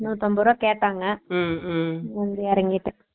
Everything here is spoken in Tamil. நூத்துஅம்புருவா கேட்டாங்க Noise உம் எறங்கிட்டான்